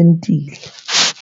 Entile.